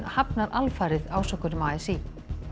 hafnar alfarið ásökunum a s í